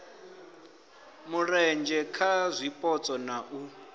mulenzhe kha zwipotso na u